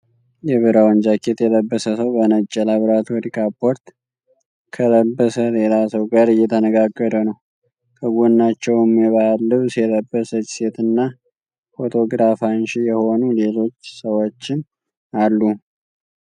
የብራውን ጃኬት የለበሰ ሰው በነጭ የላብራቶሪ ካፖርት ከለበሰ ሌላ ሰው ጋር እየተነጋገረ ነው። ከጎናቸውም የባህል ልብስ የለበሰች ሴትና ፎቶግራፍ አንሺ የሆኑ ሌሎች ሰዎችም አሉ።